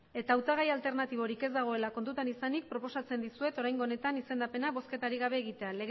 eta hautagai alternatiborik ez dagoela kontutan izanik proposatzen dizuet oraingo honetan izendapena bozketarik gabe egitea